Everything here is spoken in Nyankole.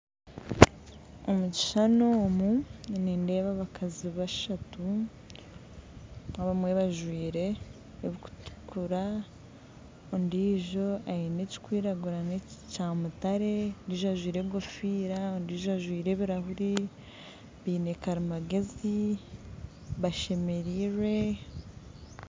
Omu kishushani omu nindeeba abakazi bashatu abamwe bajwaire ebirikutukura ondiijo aine ekirikwiragura n'ekyamutare, ondiijo ajwaire enkofiira ondiijo ajwaire ebirahuri biine karimagyezi bashemereirwe.